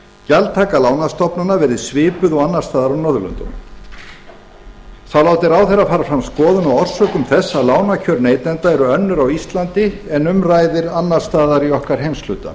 gjaldtaka lánastofnana verði svipuð og annars staðar á norðurlöndum þá láti ráðherra fara fram skoðun á orsökum þess að lánakjör neytenda eru önnur á íslandi en um ræðir annars staðar í okkar heimshluta